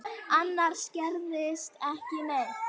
Annars gerðist ekki neitt.